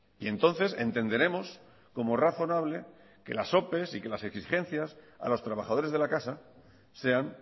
y entonces entenderemos como razonable que las opes y que las exigencias a los trabajadores de la casa sean